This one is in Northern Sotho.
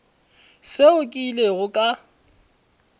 seo ke ilego ka se